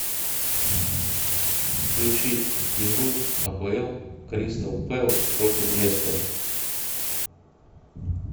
включи игру апл кристал пэлас против лестера